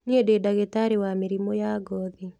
Niĩndĩndagĩtarĩwa mĩrimũ ya ngothi.